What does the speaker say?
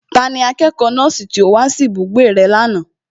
Tani akẹ́kọ̀ọ́ nọ́ọ̀sì tí ó wá sí ibùgbé rẹ lánàá?